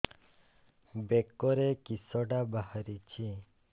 ବେକରେ କିଶଟା ବାହାରିଛି